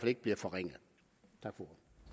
ikke bliver forringet